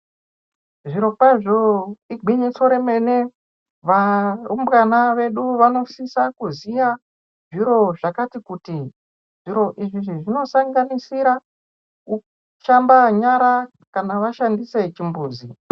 Zvirokwazvo, igwinyiso remene , varumbwana vedu vanosisa kuziya zviro zvakati kuti .Zviro izvi zvinosanganisira kusamba nyara ,kana vashandise chimbuzi.